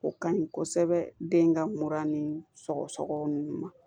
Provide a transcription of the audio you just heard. O ka ɲi kosɛbɛ den ka mura ni sɔgɔsɔgɔ nunnu ma